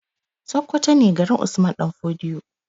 Sakkwato ne garin usmanu ɗan fodio